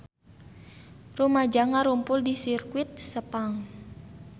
Rumaja ngarumpul di Sirkuit Sepang